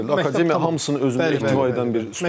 Akademiya hamısını özündə birləşdirir.